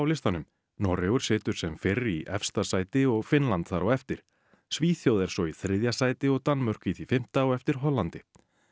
listanum Noregur situr sem fyrr í efsta sæti og Finnland þar á eftir Svíþjóð er svo í þriðja sæti og Danmörk í því fimmta á eftir Hollandi